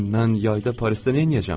İndi mən yayda Parisdə neyləyəcəm?